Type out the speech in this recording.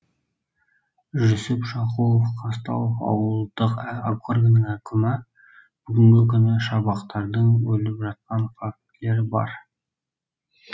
жүсіп шақуов қазталов ауылдық округінің әкімі бүгінгі күні шабақтардың өліп жатқан фактілер бар